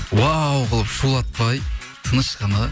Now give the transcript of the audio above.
уау қылып шулатпай тыныш қана